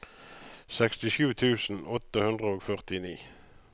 sekstisju tusen åtte hundre og førtini